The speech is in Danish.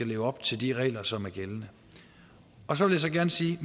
leve op til de regler som er gældende så vil jeg gerne sige